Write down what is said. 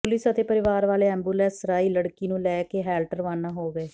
police ਅਤੇ ਪਰਿਵਾਰ ਵਾਲੇ ਐਂਬੂਲੈਂਸ ਰਾਹੀਂ ਲੜਕੀ ਨੂੰ ਲੈ ਕੇ ਹੈਲਟ ਰਵਾਨਾ ਹੋ ਗਏ